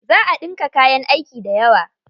Za a ɗinka kayan aiki dayawa.